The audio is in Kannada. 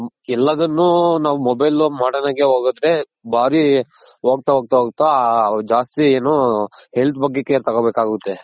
ನಾವ್ ಎಲಾದುನ್ನು ನಾವ್ mobile modern ಆಗೇ ಹೋಗುತ್ತೆ ಬರಿ ಹೋಗ್ತಾ ಹೋಗ್ತಾ ಹೋಗ್ತಾ ಜಾಸ್ತಿ ಏನು health ಬಗ್ಗೆ care ತಗೊಂಬೇಕಾಗುತ್ತೆ.